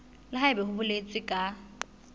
le haebe ho boletswe ka